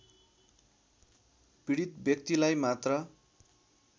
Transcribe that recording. पीडित व्यक्तिलाई मात्र